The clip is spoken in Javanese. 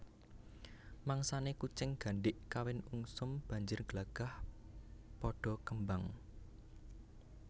Mangsané kucing gandhik kawin ungsum banjir glagah padha kembang